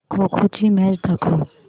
खो खो ची मॅच दाखव